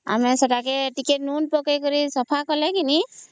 ଆମେ ସେତ ଟିକେ ଲୁଣ ପକେଇକିରି ସଫା କଲେ ଘିନି